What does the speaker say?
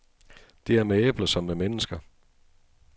Det er med æbler som med mennesker.